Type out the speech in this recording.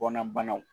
Bɔnna banaw